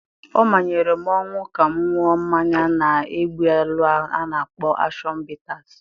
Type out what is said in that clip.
Ọ manyere m ọnwụ ka m ṅụọ mmanya na-egbu ilu ahụ a na-akpọ ashọn bitasị.